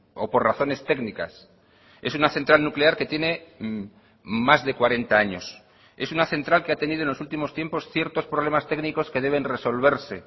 o por razones técnicas es una central nuclear que tiene más de cuarenta años es una central que ha tenido en los últimos tiempos ciertos problemas técnicos que deben resolverse